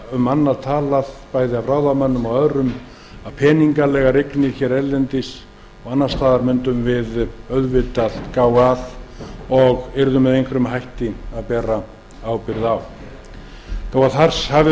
ég heyrði þó engan tala um annað hvorki ráðamenn né aðra en að við mundum gæta þess og yrðum með einhverjum hætti að bera ábyrgð á peningalegum eignum erlendis og annars staðar þó